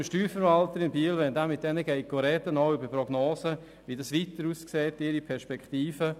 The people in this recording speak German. Ich weiss von unserem Steuerverwalter in Biel, dass er sich mit diesen Firmen auch über Prognosen zu deren Perspektiven unterhält.